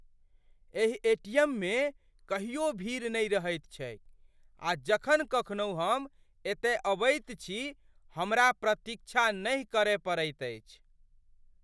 एहि एटीएममे कहियो भीड़ नहि रहैत छैक आ जखन कखनहु हम एतय अबैत छी हमरा प्रतीक्षा नहि करय पड़ैत अछि।